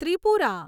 Tripura